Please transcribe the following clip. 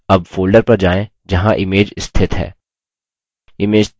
अब folder पर जाएँ जहाँ image स्थित है